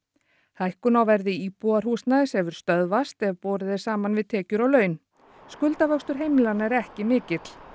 hækkun á verði íbúðarhúsnæðis hefur stöðvast ef borið er saman við tekjur og laun heimilanna er ekki mikill